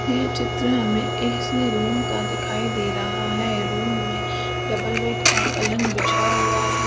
ये चित्र हमे ऐसे रूम का दिखाई दे रहा है रूम में डबल बेड का पलंग बिछा हुआ है।